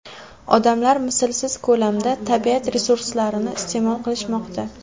Odamlar mislsiz ko‘lamda tabiat resurslarini iste’mol qilishmoqda.